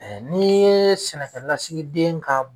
ni ye sɛnɛkɛlasigi den ka